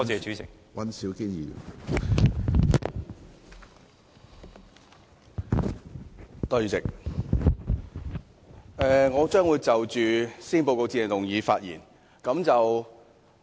主席，我將會就施政報告致謝議案發言。